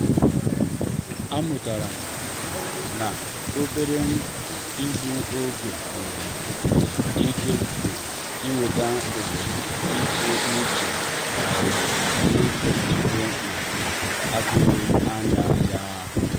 a mụtara m um na obere um igbu oge nwere nwere ike um iweta oghere ịtụ uche maọbụ ijiko a na-atụghị anya ya.